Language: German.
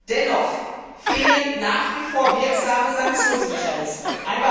Dennoch fehlen nach wie vor wirksame Sanktionsmechanismen.